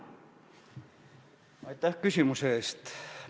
Aitäh küsimuse eest!